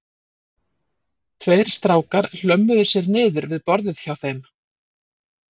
Tveir strákar hlömmuðu sér niður við borðið hjá þeim